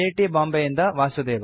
ಬಾಂಬೆಯಿಂದ ವಾಸುದೇವ